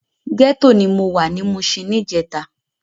Gètó ni mó wá ni Mushin nijètá